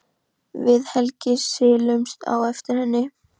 Við Helgi silumst á eftir henni.